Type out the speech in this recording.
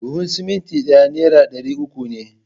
Buhun simintin ɗaya nera ɗari uku ne